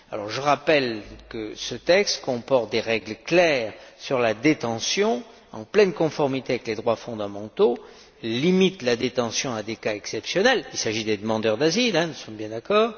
Je rappelle que ce texte comporte des règles claires sur la détention, en pleine conformité avec les droits fondamentaux, et limite la détention à des cas exceptionnels il s'agit des demandeurs d'asile, nous sommes bien d'accord.